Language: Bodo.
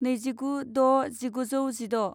नैजिगु द' जिगुजौ जिद'